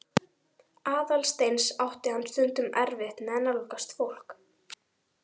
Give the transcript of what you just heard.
Aðalsteins átti hann stundum erfitt með að nálgast fólk.